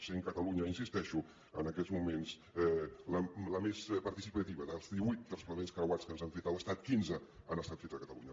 i catalunya és hi insisteixo en aquests moments la més participativa dels divuit trasplantaments creuats que s’han fet a l’estat quinze han estat fets a catalunya